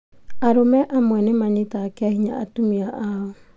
Arũme amwe nĩmanyitaga kĩahinya atumia ao